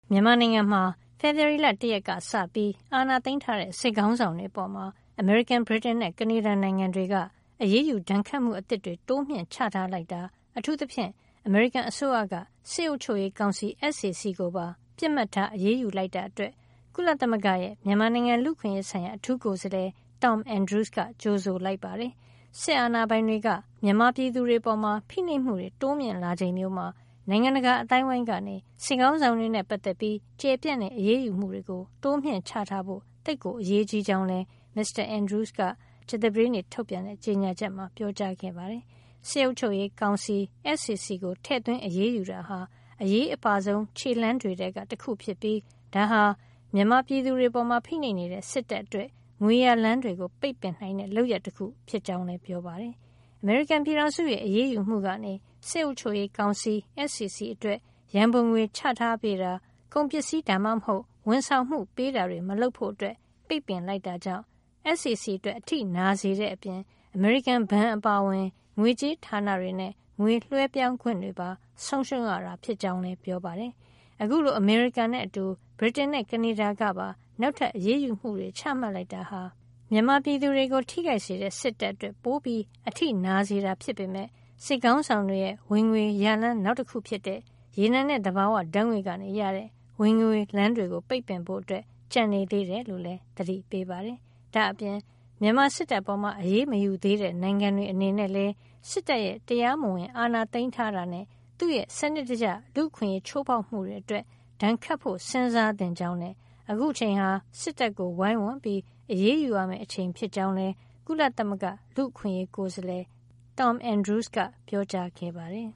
မြန်မာနိုင်ငံမှာ ဖေဖေါ်ဝါရီလ ၁ ရက်က စပြီး အာဏာသိမ်းထားတဲ့ စစ်ခေါင်းဆောင်တွေအပေါ် အမေရိကန်၊ ဗြိတိန်နဲ့ ကနေဒါနိုင်ငံတွေက အရေးယူ ဒဏ်ခတ်မှု အသစ်တွေ တိုးမြှင့် ချထားလိုက်တာ အထူးသဖြင့် အမေရိကန်အစိုးရက စစ်အုပ်ချုပ်ရေးကောင်စီ SAC ကိုပါ ပစ်မှတ်ထား အရေးယူလိုက်တာ အတွက် ကုလသမဂ္ဂရဲ့ မြန်မာနိုင်ငံ လူ့အခွင့်ရေးဆိုင်ရာ အထူးကိုယ်စားလှယ် Tom Andrews က ကြိုဆိုလိုက်ပါတယ်။ စစ်အာဏာပိုင်တွေက မြန်မာပြည်သူတွေ အပေါ် ဖိနှိပ်မှုတွေ တိုးမြှင့် လာချိန်မျိုးမှာ နိုင်ငံတကာ အသိုင်းဝိုင်းကနေ စစ်ခေါင်းဆောင်တွေနဲ့ ပတ်သက်ပြီး ကျယ်ပြန့်တဲ့ အရေးယူမှုတွေ တိုးချထားဖို့ သိပ်ကို အရေးကြီးကြောင်းလည်း မစ္စတာ Andrews က မေလ ၂၀ ကြာသပတေးနေ့ထုတ်ပြန်တဲ့ ကြေညာချက်မှာ ပြောကြားခဲ့ပါတယ်။ စစ်အုပ်ချုပ်ရေးကောင်စီ SAC ကို ထည့်သွင်းအရေးယူတာဟာ အရေးအပါဆုံး ခြေလှမ်းတွေထဲက တခု ဖြစ်ပြီး ဒါဟာ မြန်မာပြည်သူတွေ အပေါ်ဖိနှိပ်နေတဲ့ စစ်တပ် အတွက် ငွေရလမ်းတွေကို ပိတ်ပင်နိုင်တဲ့ လုပ်ရပ်တခု ဖြစ်ကြောင်းလည်း ပြောပါတယ်။ အမေရိကန်ပြည်ထောင်စုရဲ့ အရေးယူမှုကနေ စစ်အုပ်ချုပ်ရေး ကောင်စီ SAC အတွက် ရံပုံငွေချထားပေးတာ၊ ကုန်ပစ္စည်း ဒါမှမဟုတ် ဝန်ဆောင်မှု ပေးတာတွေ မလုပ်ဖို့ ပိတ်ပင်လိုက်တာ ကြောင့် SAC အတွက် အထိနာစေတဲ့ အပြင် အမေရိကန်ဘဏ် အပါအဝင် ငွေကြေးဌာန တွေနဲ့ ငွေလွှဲပြောင်းခွင့်တွေပါ ဆုံးရှုံးရတာ ဖြစ်ကြောင်းလည်း ပြောပါတယ်။ အခုလို အမေရိကန်နဲ့ အတူ ဗြိတိန်နဲ့ ကနေဒါကပါ နောက်ထပ် အရေးယူမှုတွေ ချမှတ်လိုက်တာဟာ မြန်မာပြည်သူတွေ ကို ထိခိုက်စေတဲ့စစ်တပ်အတွက် ပိုအထိနာစေတာ ဖြစ်ပေမယ့် စစ်ခေါင်းဆောင်တွေ ရဲ့ ငွေရလမ်း နောက်တခု ဖြစ်တဲ့ ရေနံနဲ့ သဘာဝဓါတ်ငွေ့က ရတဲ့ ဝင်ငွေလမ်း တွေကို ပိတ်ဖို့ ကျန်နေသေးတယ် လို့လည်း သတိပေးပါတယ်။ ဒါ့အပြင် မြန်မာစစ်တပ်အပေါ် အရေးမယူသေးတဲ့ နိုင်ငံတွေ အနေနဲ့လည်း စစ်တပ်ရဲ့ တရားမဝင် အာဏာသိမ်းတာနဲ့ သူ့ရဲ့စံနစ်တကျ လူ့အခွင့်ရေး ချိုးဖေါက်မှုတွေ အတွက် ဒဏ်ခတ်ဖို့ စဉ်းစားသင့်ကြောင်းနဲ့ အခုအချိန်ဟာ စစ်တပ်ကို ဝိုင်းဝန်း အရေးယူရမယ့် အချိန် ဖြစ်ကြောင်းလည်း ကုလလူ့အခွင့်ရေးကိုယ်စားလှယ် Tom Andrews က ပြောကြားခဲ့ပါတယ်